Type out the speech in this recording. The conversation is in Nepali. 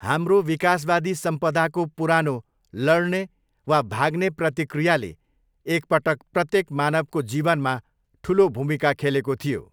हाम्रो विकासवादी सम्पदाको पुरानो 'लड्ने वा भाग्ने' प्रतिक्रियाले एक पटक प्रत्येक मानवको जीवनमा ठुलो भूमिका खेलेको थियो।